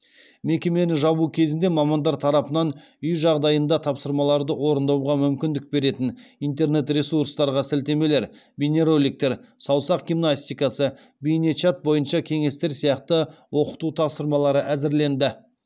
мекемені жабу кезінде мамандар тарапынан үй жағдайында тапсырмаларды орындауға мүмкіндік беретін интернет ресурстарға сілтемелер бейнероликтер саусақ гимнастикасы бейне чат бойынша кеңестер сияқты оқыту тапсырмалары әзірленді